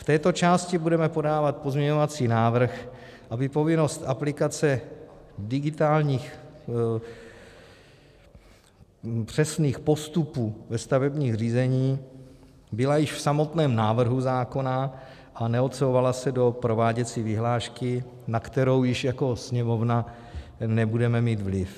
V této části budeme podávat pozměňovací návrh, aby povinnost aplikace digitálních přesných postupů ve stavebním řízení byla již v samotném návrhu zákona a neodsouvala se do prováděcí vyhlášky, na kterou již jako Sněmovna nebudeme mít vliv.